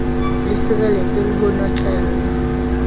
le sireletswe le ho notlellwa